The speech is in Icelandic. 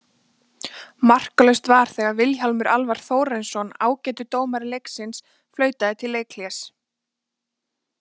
Markalaust var þegar að Vilhjálmur Alvar Þórarinsson, ágætur dómari leiksins flautaði til leikhlés.